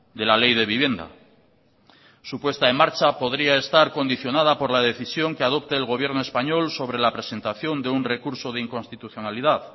de la ley de vivienda su puesta en marcha podría estar condicionada por la decisión que adopte el gobierno español sobre la presentación de un recurso de inconstitucionalidad